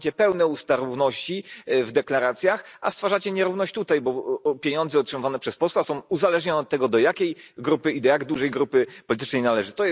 Macie pełne usta równości w deklaracjach, a stwarzacie nierówność tutaj, bo pieniądze otrzymywane przez posła są uzależnione od tego, do jakiej grupy i do jak dużej grupy politycznej należy.